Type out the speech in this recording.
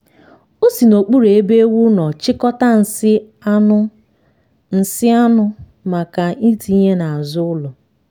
o si n'okpuru ebe ewu nọ chịkọta nsị anụ nsị anụ maka itinye n'azụ ụlọ.